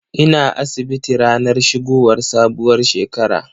Ina asibiti ranar shigowar sabuwar shekara.